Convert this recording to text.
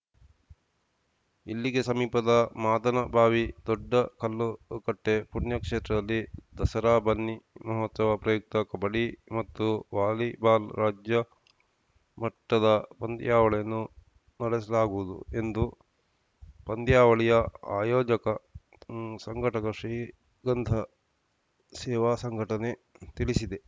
ಇಲ್ಲಿಗೆ ಸಮೀಪದ ಮಾದನಬಾವಿ ದೊಡ್ಡಕಲ್ಲುಕಟ್ಟೆಪುಣ್ಯಕ್ಷೇತ್ರದಲ್ಲಿ ದಸರಾ ಬನ್ನಿಮಹೋತ್ಸವ ಪ್ರಯುಕ್ತ ಕಬಡ್ಡಿ ಮತ್ತು ವಾಲಿಬಾಲ್‌ ರಾಜ್ಯ ಮಟ್ಟದ ಪಂದ್ಯಾವಳಿಯನ್ನು ನಡೆಸಲಾಗುವುದು ಎಂದು ಪಂದ್ಯಾವಳಿಯ ಆಯೋಜಕ ಸಂಘಟಕ ಶ್ರೀಗಂಧ ಸೇವಾ ಸಂಘಟನೆ ತಿಳಿಸಿದೆ